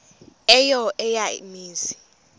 eyo eya mizi